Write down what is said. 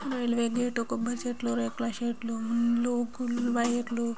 వీళ్లు వెళ్లి కొబ్బరీ చెట్లు రేకుల షెడ్ ఇల్లు వైర్లు --